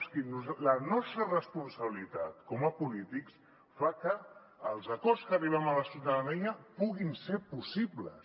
és que la nostra responsabilitat com a polítics fa que els acords a què arribem amb la ciutadania puguin ser possibles